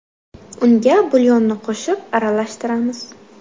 Unga bulyonni qo‘shib, aralashtiramiz.